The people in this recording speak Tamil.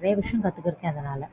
நிறைய விஷயம் கத்துக்குட்டேன் அதனால